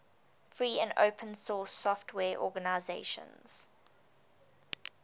free and open source software organizations